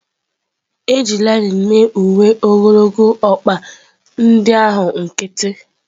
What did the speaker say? E ji linen mee uwe ogologo ọkpa ndị ahụ nkịtị.